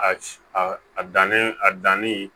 A a dannen a danni